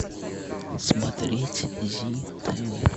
смотреть зи тв